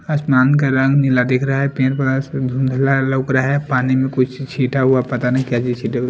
आसमान का रंग नीला दिख रहा है पेर पर धुनधला लग रहा है पानी में कुछ छीटा हुआ पता नहीं क्या चीज छीटे हुए---